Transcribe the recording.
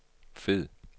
fed